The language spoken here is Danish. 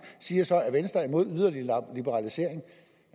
siger så at venstre er imod yderligere liberalisering